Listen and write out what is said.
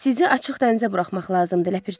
Sizi açıq dənizə buraxmaq lazımdır, ləpirçi.